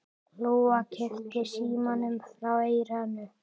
Lóa kippti símanum frá eyranu.